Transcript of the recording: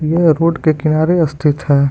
यह रोड के किनारे स्थित है।